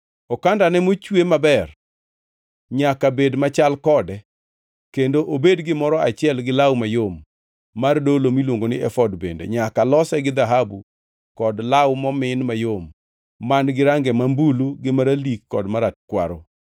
Okandane mochwe maber nyaka bed machal kode kendo obed gimoro achiel gi law mayom mar dolo miluongo ni efod bende nyaka lose gi dhahabu kod law momin mayom man-gi range marambulu gi maralik kod marakwaro.